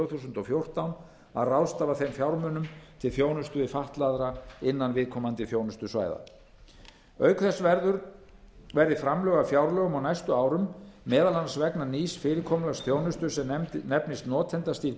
þúsund og fjórtán að ráðstafa þeim fjármunum til þjónustu við fatlaða innan viðkomandi þjónustusvæða auk þess verði framlög af fjárlögum á næstu árum meðal annars vegna nýs fyrirkomulags þjónustu sem nefnist notendastýrð